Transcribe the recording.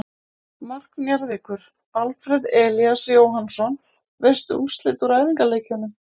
Mark Njarðvíkur: Alfreð Elías Jóhannsson Veistu úrslit úr æfingaleikjum?